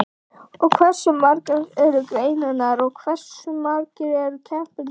Og hversu margar eru greinarnar og hversu margir eru keppendurnir?